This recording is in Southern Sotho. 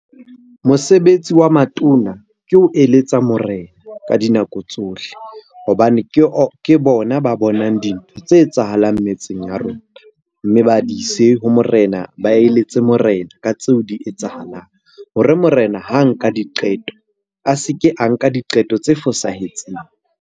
Mosebetsi wa matona ke ho eletsa morena ka dinako tsohle hobane ke bona ba bonang dintho tse etsahalang metseng ya rona. Mme ba di ise ho morena, ba eletse morena ka tseo di etsahalang hore morena ha nka diqeto a se ke a nka diqeto tse fosahetseng.